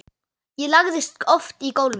Ég lagðist oft í gólfið.